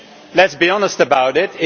Let us be honest about it.